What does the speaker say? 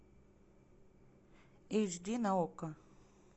эйч ди на окко